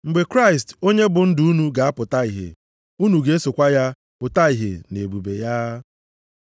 Mgbe Kraịst onye bụ ndụ unu ga-apụta ihe, unu ga-esokwa ya pụta ìhè nʼebube ya.